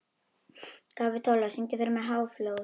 Kapitola, syngdu fyrir mig „Háflóð“.